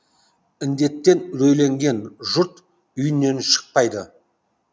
індеттен рөйленген жұрт үйінен шықпайды